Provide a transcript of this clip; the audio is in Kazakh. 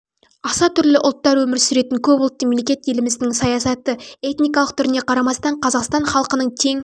аса түрлі ұлттар өмір сүретін көпұлтты мемлекет еліміздің саясаты этникалық түріне қарамастан қазақстан халқының тең